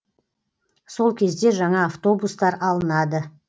сол кезде жаңа автобустар алынады